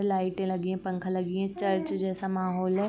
लाइटे लगी हैं पखा लगी हैं चर्च जैसा माहौल है।